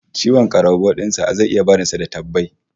Ciwon karambau din sa zai iya barin sa da tabbai